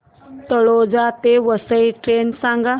तळोजा ते वसई ट्रेन सांग